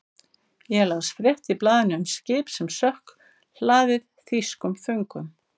Ég las frétt í blaðinu um skip sem sökk, hlaðið þýskum föngum.